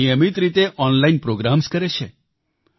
તેઓ નિયમિત રીતે ઓનલાઈન પ્રોગ્રામ્સ કરે છે